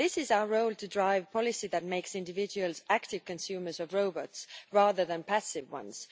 Our role is to drive policy that makes individuals active consumers of robots rather than passive ones.